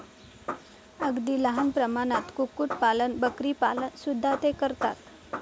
अगदी लहान प्रमाणात कुक्कुट पालन, बकरीपालन सुद्धा ते करतात.